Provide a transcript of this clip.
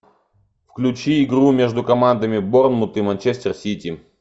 включи игру между командами борнмут и манчестер сити